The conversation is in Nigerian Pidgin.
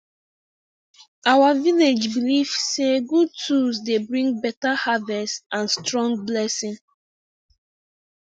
our village belief say good tools dey bring beta harvest and strong blessing